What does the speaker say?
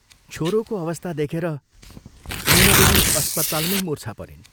छोरोको अवस्था देखेर मैनादेवी अस्पतालमै मूर्छा परिन्।